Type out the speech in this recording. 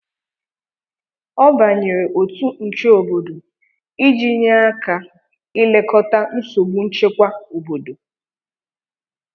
ọ banyere otu nche obodo iji nye aka ilekọta nsogbu nchekwa obodo